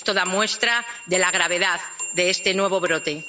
Esto da muestra de la gravedad de este nuevo brote.